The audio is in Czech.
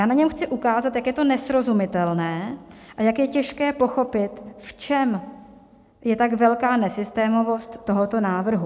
Já na něm chci ukázat, jak je to nesrozumitelné a jak je těžké pochopit, v čem je tak velká nesystémovost tohoto návrhu.